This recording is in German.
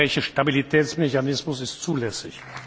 Der Europäische Stabilitätsmechanismus ist zulässig.